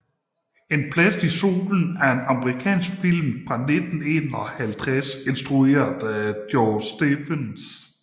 En plads i solen er amerikansk film fra 1951 instrueret af George Stevens